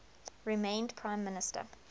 remained prime minister